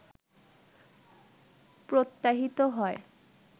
প্রত্যাহৃত হয়